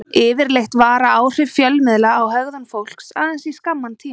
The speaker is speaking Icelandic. Yfirleitt vara áhrif fjölmiðla á hegðun fólks aðeins í skamman tíma.